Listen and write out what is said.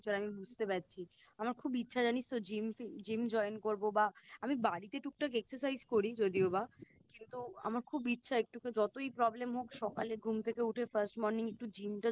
আমি বুঝতে পারছি আমার খুব ইচ্ছা জানিস তো Gym fim Gym join করবো বা আমি বাড়িতে টুকটাক Exercise করি যদিও বা কিন্তু আমার খুব ইচ্ছা একটু করে যতই Problem হোক সকালে ঘুম থেকে উঠে First morning একটু Gym টা